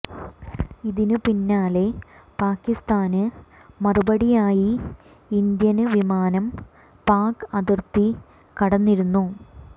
ഇതിന് പിന്നാലെ പാകിസ്താന് മറുപടിയായി ഇന്ത്യന് വിമാനം പാക് അതിര്ത്തി കടന്നിരുന്നു